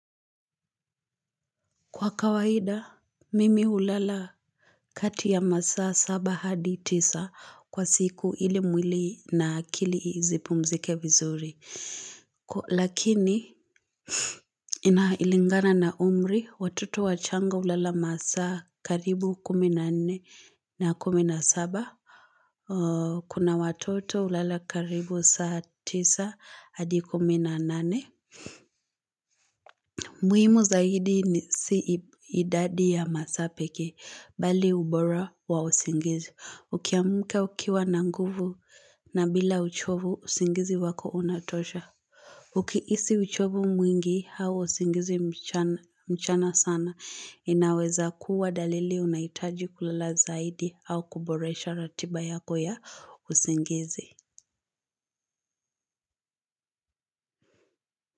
Kwa kawaida, mimi hulala kati ya masaa saba hadi tisa kwa siku ili mwili na akili zipumzike vizuri. Lakini, inailingana na umri, watoto wachanga hulala masaa karibu kumi na nne na kumi na saba. Kuna watoto hulala karibu saa tisa hadi kumi na nane. Muhimu zaidi ni si idadi ya masaa pekee, bali ubora wa usingizi. Ukiamuka ukiwa na nguvu na bila uchovu, usingizi wako unatosha. Ukiisi uchovu mwingi, hau usingizi mchana sana. Inaweza kuwa dalili unahitaji kulala zaidi au kuboresha ratiba yako ya usingizi.